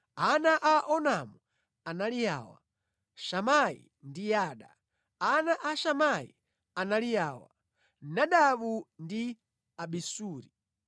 Ana a Onamu anali awa: Shamai ndi Yada. Ana a Shamai anali awa: Nadabu ndi Abisuri.